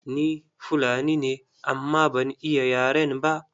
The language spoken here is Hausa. Ni Fulani ne amma ban iya yaren ba.